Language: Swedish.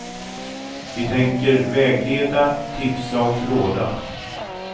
Vi tänker vägleda, tipsa och råda.